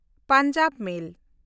Punjab ᱢᱮᱞ